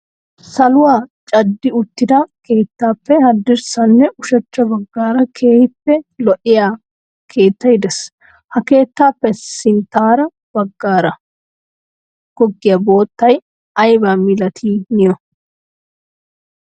Saluwa caddi uttida keettappe haddirssanne ushachcha baggaara keehippe lo"iyaa keettay de'ees. Ha keettappe sinttaara baggara goggiya boottay aybba malati niyo?